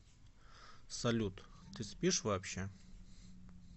салют ты спишь вообще